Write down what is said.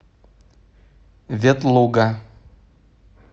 ветлуга